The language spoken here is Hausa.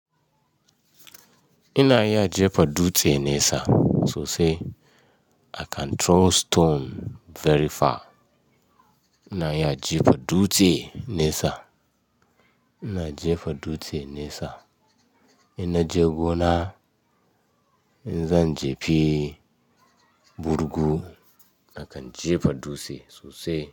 Ina iya jefa dutse nesa sosai. I can throw stone very far. Ina iya jefa dutse nesa. Ina jefa dutse nesa. Ina je gona, in zan jefi, burgu. I can jefa dutse sosai.